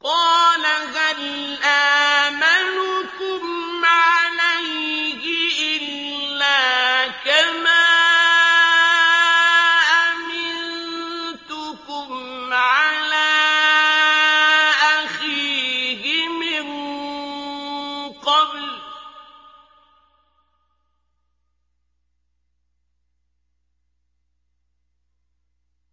قَالَ هَلْ آمَنُكُمْ عَلَيْهِ إِلَّا كَمَا أَمِنتُكُمْ عَلَىٰ أَخِيهِ مِن قَبْلُ ۖ